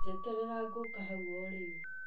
Njeterera ngũũka hau o rĩu.